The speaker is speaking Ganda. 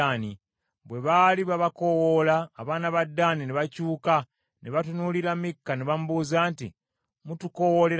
Bwe baali babakoowoola, abaana ba Ddaani ne bakyuka ne batunuulira Mikka ne bamubuuza nti, “Mutukoowoolera ki?”